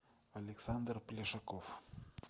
александр плешаков